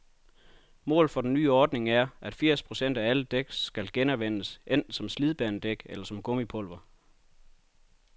Målet for den nye ordning er, at firs procent af alle dæk skal genanvendes, enten som slidbanedæk eller som gummipulver.